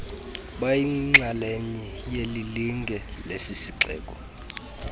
bayinxalenye yelilinge lesisixeko